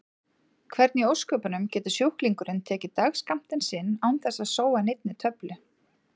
Hvernig í ósköpunum getur sjúklingurinn tekið dagsskammtinn sinn án þess að sóa neinni töflu?